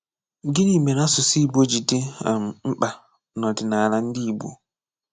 Gịnị mere asụsụ Igbo ji dị um mkpa nọdịnala ndị Igbo?